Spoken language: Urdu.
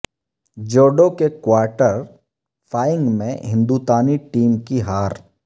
جوڈو کے کوارٹر فائنگ میں ہندوتانی ٹیم کی ہار